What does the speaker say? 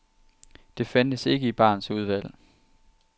Det fandtes ikke i barens udvalg.